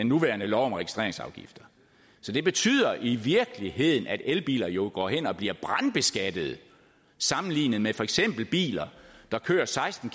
nuværende lov om registreringsafgifter så det betyder i virkeligheden at elbiler jo går hen og bliver brandskattet sammenlignet med for eksempel biler der kører seksten